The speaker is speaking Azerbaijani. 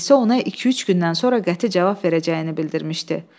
Ənisə ona iki-üç gündən sonra qəti cavab verəcəyini bildirmişdi.